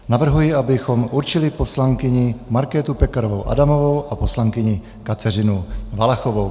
Navrhuji, abychom určili poslankyni Markétu Pekarovou Adamovou a poslankyni Kateřinu Valachovou.